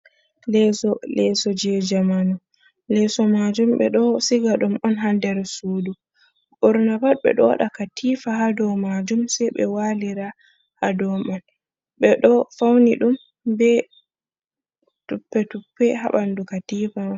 Leeso: Leso je jamanu, leso majum ɓeɗo siga ɗum on ha nder sudu ɓurna pat ɓe ɗo waɗa katifa ha dow majum sei ɓe walira ha dow man. Ɓeɗo fauni ɗum be tuppe-tuppe ha ɓandu katifa man.